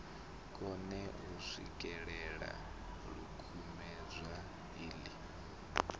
kone u swikelela ḽikumedzwa iḽi